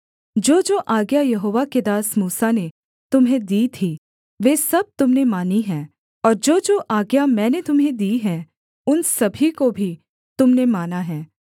जोजो आज्ञा यहोवा के दास मूसा ने तुम्हें दी थीं वे सब तुम ने मानी हैं और जोजो आज्ञा मैंने तुम्हें दी हैं उन सभी को भी तुम ने माना है